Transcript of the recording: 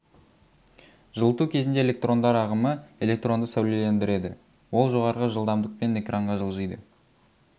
жылыту кезінде электрондар ағымы электронды сәулелендіреді ол жоғарғы жылдамдықпен экранға жылжиды